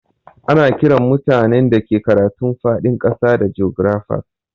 Ana Kiran mutanen da ke karatun fadin kasa da jografas.